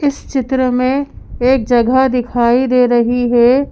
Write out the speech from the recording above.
इस चित्र में एक जगह दिखाई दे रही है।